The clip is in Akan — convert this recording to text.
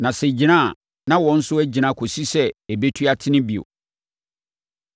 Na sɛ ɛgyina a, na wɔn nso agyina kɔsi sɛ ɛbɛtu atene bio.